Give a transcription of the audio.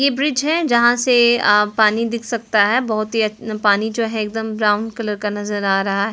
ये ब्रिज हैं जहां से अ पानी दिख सकता है बहुत ही अच्छ पानी जो है एकदम ब्राउन कलर का नजर आ--